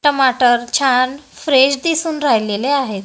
टमाटर छान फ्रेश दिसून राहिलेले आहेत.